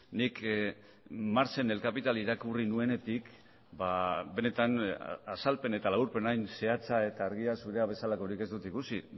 nik marx en el capital irakurri nuenetik benetan azalpen eta laburpen hain zehatza eta argia zurea bezalakorik ez dut ikusi